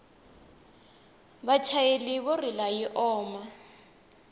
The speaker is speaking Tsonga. vachayeri vo rila yi oma